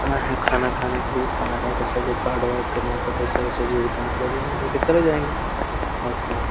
आए हैं खाना खाने के लिए खाना खाके सब लोग कार्ड वार्ड का नई तो पईसा वइसा जो भी जितना होगा देंगे देके चले जायेंगे [ और क्या?